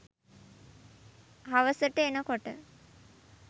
හවසට එනකොට